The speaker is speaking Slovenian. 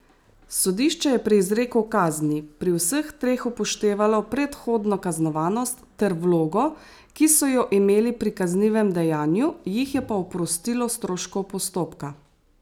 Sodišče je pri izreku kazni pri vseh treh upoštevalo predhodno kaznovanost ter vlogo, ki so jo imeli pri kaznivem dejanju, jih je pa oprostilo stroškov postopka.